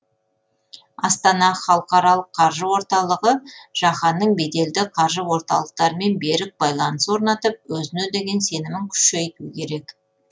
астана халықаралық қаржы орталығы жаһанның беделді қаржы орталықтарымен берік байланыс орнатып өзіне деген сенімін күшейту керек